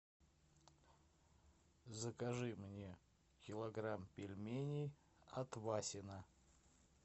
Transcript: закажи мне килограмм пельменей от васино